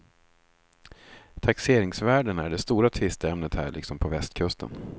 Taxeringsvärdena är det stora tvisteämnet här liksom på västkusten.